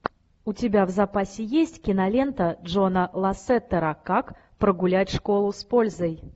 у тебя в запасе есть кинолента джона лассетера как прогулять школу с пользой